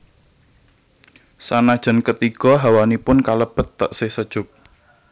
Sanajan ketigo hawanipun kalebet teksih sejuk